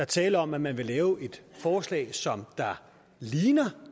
tale om at man vil lave et forslag som ligner